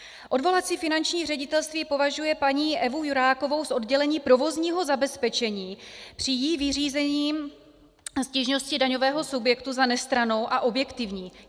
Odvolací finanční ředitelství považuje paní Evu Jurákovou z oddělení provozního zabezpečení při jí vyřízení stížnosti daňového subjektu za nestrannou a objektivní.